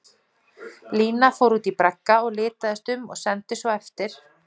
Lína fór út í bragga og litaðist um og sendi svo eftir